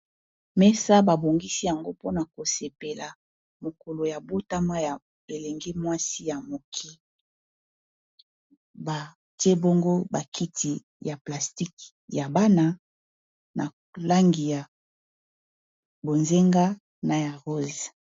Mesa ba bongisi yango mpona kosepela mokolo ya botama ya elenge mwasi ya mokie batie bongo bakiti ya plastique ya bana na langi ya bonzenga na ya rose.